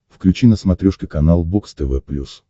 включи на смотрешке канал бокс тв плюс